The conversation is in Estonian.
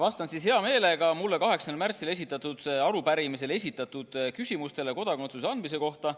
Vastan hea meelega mulle 8. märtsil esitatud arupärimises esitatud küsimustele kodakondsuse andmise kohta.